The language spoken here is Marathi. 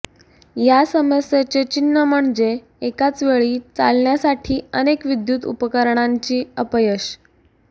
या समस्येचे चिन्ह म्हणजे एकाच वेळी चालण्यासाठी अनेक विद्युत उपकरणांची अपयश